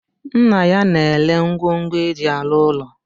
Nna ya na-ere ngwongu eji arụ ụlọ